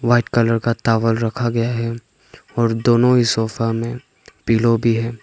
White colour का towel रखा गया है और दोनों ही सोफा में पिलो भी है।